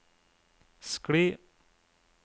skli